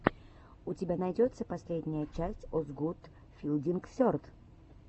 у тебя найдется последняя часть озгуд филдинг серд